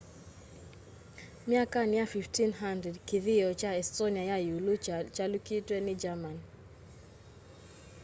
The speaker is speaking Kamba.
myakani ya 1500 kĩthĩo cha estonia ya yiulũ chaalyũkitwe ni germany